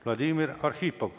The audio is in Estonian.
Vladimir Arhipov.